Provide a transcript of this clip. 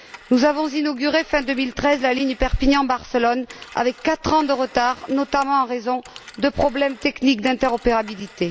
Nous avons inauguré, fin2013, la ligne Perpignan Barcelone avec quatre ans de retard, notamment en raison de problèmes techniques d'interopérabilité.